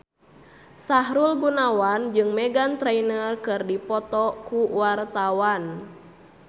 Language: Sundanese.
Sahrul Gunawan jeung Meghan Trainor keur dipoto ku wartawan